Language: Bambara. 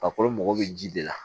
Farikolo mago bɛ ji de la